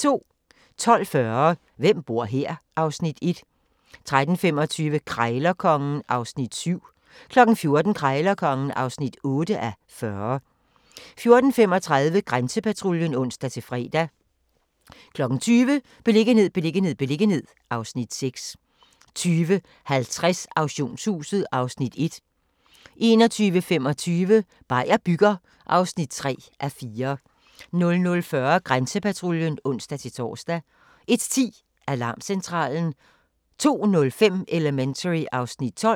12:40: Hvem bor her? (Afs. 1) 13:25: Krejlerkongen (7:40) 14:00: Krejlerkongen (8:40) 14:35: Grænsepatruljen (ons-fre) 20:00: Beliggenhed, beliggenhed, beliggenhed (Afs. 6) 20:50: Auktionshuset (Afs. 1) 21:25: Beier bygger (3:4) 00:40: Grænsepatruljen (ons-tor) 01:10: Alarmcentralen 02:05: Elementary (Afs. 12)